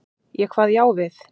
Ég kvað já við.